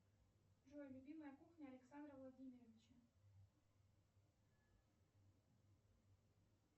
джой любимая кухня александра владимировича